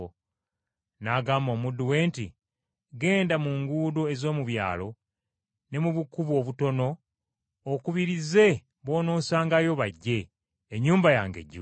“N’agamba omuddu we nti, ‘Genda mu nguudo ez’omu byalo ne mu bukubo obutono okubirize b’onoosangayo bajje, ennyumba yange ejjule.